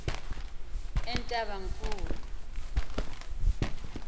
entabankulu